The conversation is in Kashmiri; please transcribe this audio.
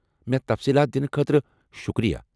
مےٚ تفصیٖلات دنہٕ خٲطرٕ شکریہ۔